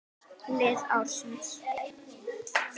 Lið ársins